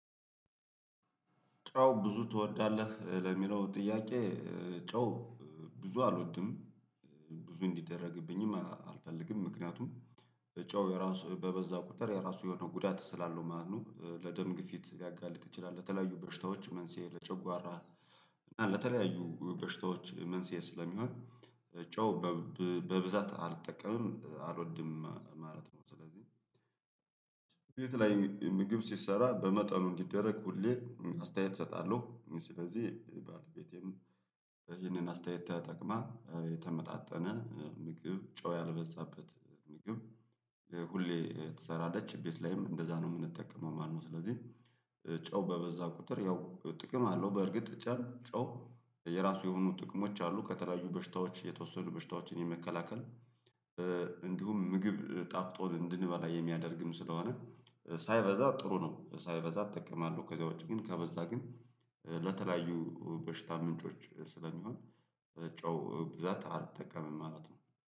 ጨው ብዙ ትወዳለህ? ለሚለው ጥያቄ ጨው ብዙ አልወድም ብዙ እንዲደረግብኝም አልፈልግም ምክንያቱም ጨው የራሱ በበዛ ቁጥር የራሱ የሆነ ጉዳት ስላለው ማለት ነው ለደም ግፊት ሊያጋልጥ ይችላል ለተለያዩ በሽታዎች መንስኤ ለጨጓራ እና ለተለያዩ በሽታዎች መንስኤ ስለሚሆን ጨው በብዛት አልጠቀምም አልወድም ማለት ነው ስለዚህ ቤት ላይ ምግብ ሲሰራ በመጠኑ እንዲደረግ ሁሌ አስተያየት እሰጣለሁ ስለዚህ ባለቤቴም ይህንን አስተያየት ተጠቅማ የተመጣጠነ ምግብ ጨው ያልበዛበት ምግብ ሁሌ ተሰራለች ቤት ላይም እንደዛ ነው የምንጠቀመው ማለት ነው ስለዚህ ጨው በበዛ ቁጥር ያው ጥቅም አለው በእርግጥ ጨው የራሱ የሆኑ ጥቅሞች አሉ ከተለያዩ በሽታዎች የተወሰኑ በሽታዎችን የመከላከል እንዲሁም ምግብ ጣፍጦን እንድንበላ የሚያደርግም ስለሆነ ሳይበዛ ጥሩ ነው ሳይበዛ እጠቀማለሁ ከዚያ ውጪ ግን ከበዛ ግን ለተለያዩ በሽታ ምንጮች ስለሚሆን ጨው ብዛት አልጠቀምም ማለት ነው።